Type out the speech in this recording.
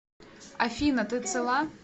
афина ты цела